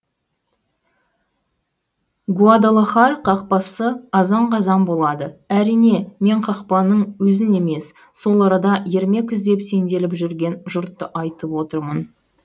гуадалахар қақпасы азан қазан болады әрине мен қақпаның өзін емес сол арада ермек іздеп сенделіп жүрген жұртты айтып отырмын